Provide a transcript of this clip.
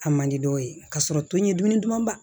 A man di dɔw ye k'a sɔrɔ to ɲɛ duman ba